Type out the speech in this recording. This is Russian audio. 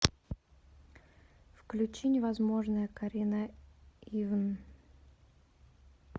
включи невозможное карина ивн